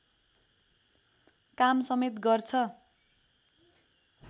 काम समेत गर्छ